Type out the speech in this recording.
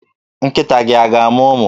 Nkịta gị a ga-amụ ụmụ?